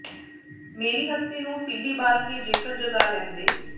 ਮੇਰੀ ਹਸਤੀ ਨੂੰ ਤੀਲੀ ਬਾਲ ਕੇ ਜੇਕਰ ਜਗਾ ਲੈਂਦੇ